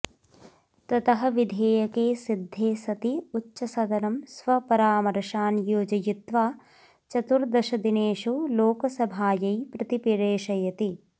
ततः विधेयके सिद्धे सति उच्चसदनं स्वपरामर्शान् योजयित्वा चतुर्दशदिनेषु लोकसभायै प्रतिप्रेषयति